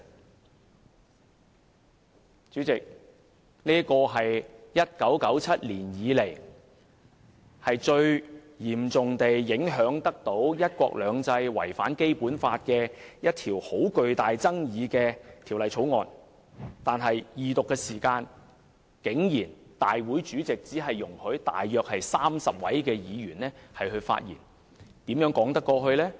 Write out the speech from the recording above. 代理主席，這是1997年以來，最嚴重影響"一國兩制"、違反《基本法》的極具爭議的一項法案，但立法會主席竟然只容許約30名議員在恢復二讀辯論時發言，這怎說得過去呢？